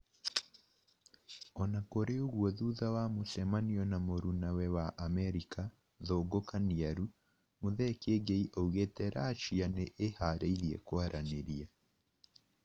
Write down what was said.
Ona kũrĩ ũgũo thutha wa mucemanio na mũrunawe wa Amerĩka, Thungu Kaniaru, Muthee Kiengei aũgĩte Russia nĩ ĩharĩirie kwaranĩrĩa